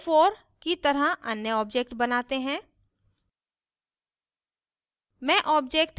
अब यहाँ o4 की तरह अन्य object बनाते हैं